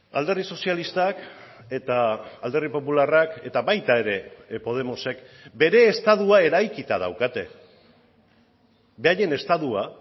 alderdi sozialistak eta alderdi popularrak eta baita ere podemosek bere estatua eraikita daukate beraien estatua